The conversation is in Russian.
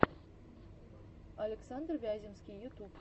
александр вяземский ютуб